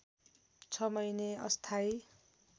६ महिने अस्थायी